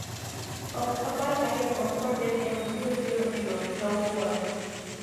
ok apar ka jakom kod jakeno biro biro e romo kawuono